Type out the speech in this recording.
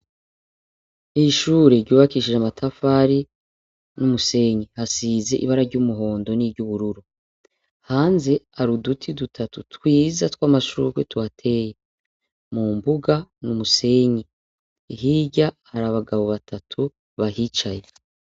Ishure ryubakishije amatafari n'umusenyi, hasize ibara ry'umuhondo n'iryubururu, hanze hari uduti dutatu twiza tw'amashurwe tuhateye, mu mbuga n'umusenyi, hirya hari abagabo batatu bahicaye.